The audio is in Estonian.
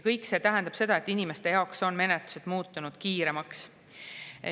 Kõik see tähendab seda, et inimeste jaoks on menetlused muutunud kiiremaks.